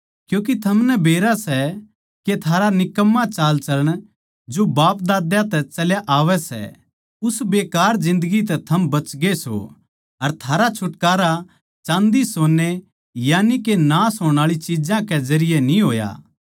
क्यूँके थमनै बेरा सै के थारा निकम्मा चालचलण जो बापदाद्यां तै चल्या आवै सै उस बेकार जिन्दगी तै थम बचगे सों अर थारा छुटकारा चाँदीसोन्ने यानिके नाश होण आळी चिज्जां कै जरिये न्ही होया